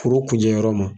Foro kunjɛ yɔrɔ ma